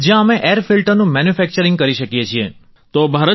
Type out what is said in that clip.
જ્યાં અમે એર ફિલ્ટરનું મેન્યુફેક્ચરિંગ કરી શકીએ છીએ